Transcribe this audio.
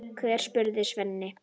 Hvern, spurði Sveinn.